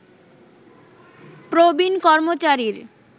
প্রবীণ কর্মচারীর